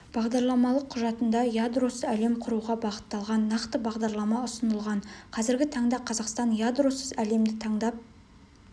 бағдарламалық құжатында ядросыз әлем құруға бағытталған нақты бағдарлама ұсынылған қазіргі таңда қазақстан ядросыз әлемді таңдап